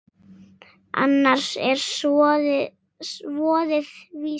Annars er voðinn vís.